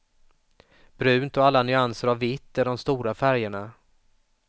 Brunt och alla nyanser av vitt är de stora färgerna.